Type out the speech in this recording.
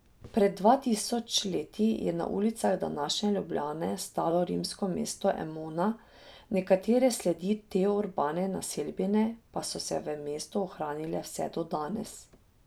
Pred dva tisoč leti je na ulicah današnje Ljubljane stalo rimsko mesto Emona, nekatere sledi te urbane naselbine pa so se v mestu ohranile vse do danes.